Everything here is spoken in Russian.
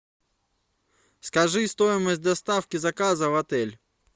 скажи стоимость доставки заказа в отель